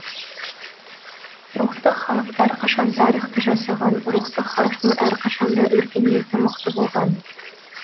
рухты халық әрқашан тарихты жасаған рухты халықтың әрқашан да өркениеті мықты болған